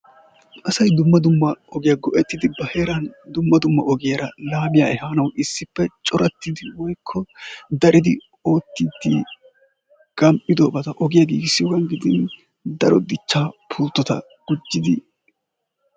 Asay dumma dumma ogiyaa go''ettidi ba heeran dumma dumma ogiyaara laamiya ehanawu issippe corattidi woykko daridi oottidi gam"idobata daro ogiyaa gidin daro dichcha pulttota gujjidi...